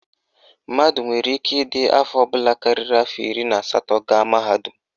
Mmadụ nwere ike ịdị afọ ọbụla karịrị afọ iri na asatọ gaa mahadum